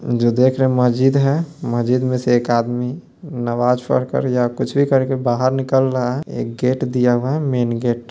जो देख रहे हैं मजीद है मजीद में से एक आदमी नमाज़ पढ़कर या कुछ भी कर के बाहर निकल रहा है एक गेट दिया हुआ है। Main gate --